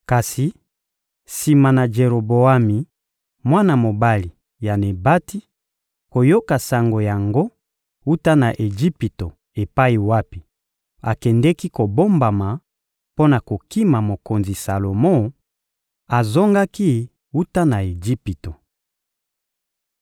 Kasi sima na Jeroboami, mwana mobali ya Nebati, koyoka sango yango wuta na Ejipito epai wapi akendeki kobombama mpo na kokima mokonzi Salomo, azongaki wuta na Ejipito.